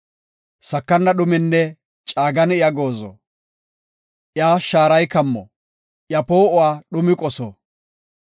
Sakana dhuminne caagani iya goozo; iya shaarii kammo; iya poo7uwa dhumi qoso.